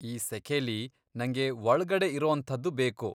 ಈ ಸೆಖೆಲಿ ನಂಗೆ ಒಳ್ಗಡೆ ಇರೋಂಥದ್ದು ಬೇಕು.